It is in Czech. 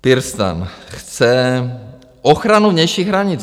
PirSTAN chce ochranu vnějších hranic.